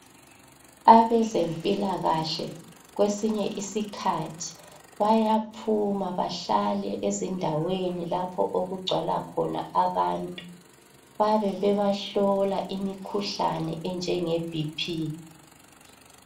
Abezempilakahle kwesinye isikhathi bayaphuma bahlale ezindaweni lapho okugcwala khona abantu bayabe bebahlola imikhuhlane enjengeBP.